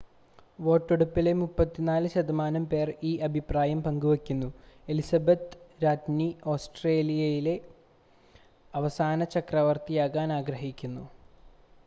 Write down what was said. വോട്ടെടുപ്പിലെ 34 ശതമാനം പേർ ഈ അഭിപ്രായം പങ്കുവെക്കുന്നു എലിസബത്ത് ii രാജ്ഞി ഓസ്ട്രേലിയയിലെ അവസാന ചക്രവർത്തിയാകാൻ ആഗ്രഹിക്കുന്നു